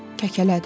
Kəkələdi.